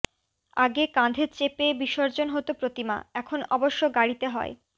আগে কাঁধে চেপে বিসর্জন হত প্রতিমা এখন অবশ্য গাড়িতে হয়